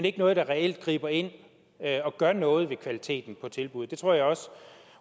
ikke noget der reelt griber ind og gør noget ved kvaliteten af tilbuddet det tror jeg også